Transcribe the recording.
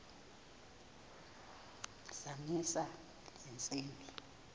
zamisa le ntsimbi